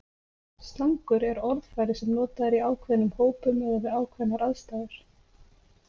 Slangur er orðfæri sem notað er í ákveðnum hópum eða við ákveðnar aðstæður.